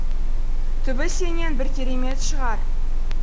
түбі сенен бір керемет шығар